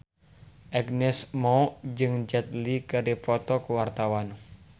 Agnes Mo jeung Jet Li keur dipoto ku wartawan